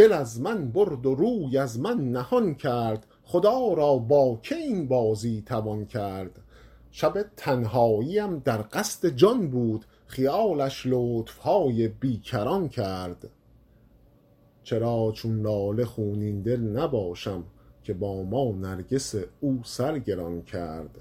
دل از من برد و روی از من نهان کرد خدا را با که این بازی توان کرد شب تنهاییم در قصد جان بود خیالش لطف های بی کران کرد چرا چون لاله خونین دل نباشم که با ما نرگس او سر گران کرد